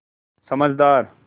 समझदार